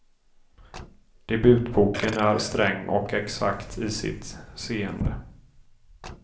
Debutboken är sträng och exakt i sitt seende.